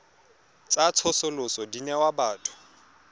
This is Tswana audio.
tsa tsosoloso di newa batho